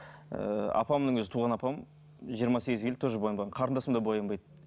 ыыы апамның өзі туған апам жиырма сегізге келді тоже боянбаған қарындасым да боянбайды